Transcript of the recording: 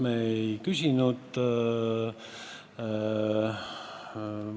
See probleem on samas kategoorias, kus töötavate pensionäride probleem.